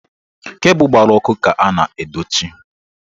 Kebu gbara ọkụ ka a na-edochi.